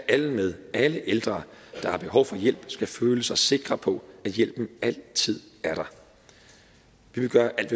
alle med alle ældre der har behov for hjælp skal føle sig sikre på at hjælpen altid er der vi vil gøre alt